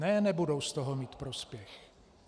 Ne, nebudou z toho mít prospěch.